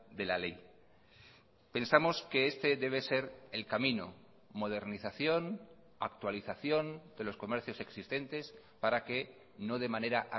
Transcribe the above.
de la ley pensamos que este debe ser el camino modernización actualización de los comercios existentes para que no de manera